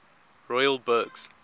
royal burghs